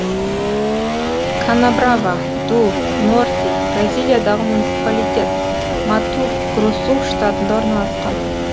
канабрава ду норти бразилиядағы муниципалитет мату гросу штатында орналасқан